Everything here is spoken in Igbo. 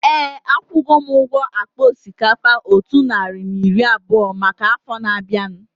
Éè, akwugo m ụgwọ akpa osikapa otu narị na iri abụọ maka afọ na-abianu